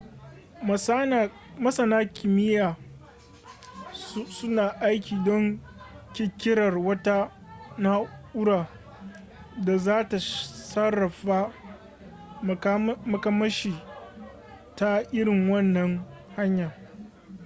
masana kimiyya suna aiki don ƙirƙirar wata na'ura da za ta sarrafa makamashi ta irin wannan hanya